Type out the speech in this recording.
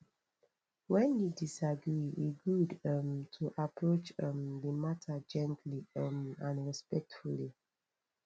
when you disagree e good um to approach um the matter gently um and respectfully